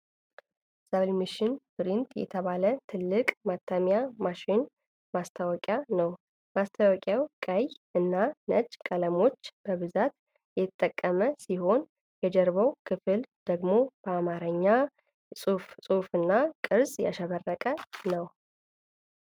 Sublimation Printer የተባለ ትልቅ የማተሚያ ማሽን ማስታወቂያ ነው። ማስታወቂያው ቀይ እና ነጭ ቀለሞች በብዛት የተጠቀመ ሲሆን፣ የጀርባው ክፍል ደግሞ በአማርኛ ጽሑፍና ቅርጾች ያሸበረቀ ነው።